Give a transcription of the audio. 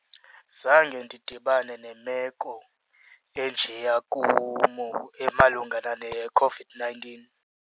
Zange ndidibane nemeko enjeya emalunga nale yeCOVID-nineteen.